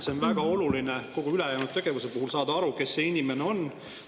On väga oluline kogu ülejäänud tegevuse puhul, kes see inimene on.